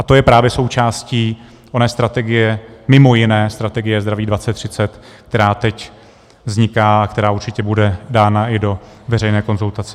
A to je právě součástí oné strategie, mimo jiné strategie Zdraví 2030, která teď vzniká a která určitě bude dána i do veřejné konzultace.